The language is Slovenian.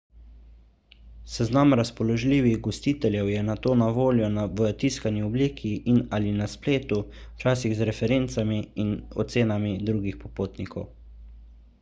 seznam razpoložljivih gostiteljev je nato na voljo v tiskani obliki in/ali na spletu včasih z referencami in ocenami drugih popotnikov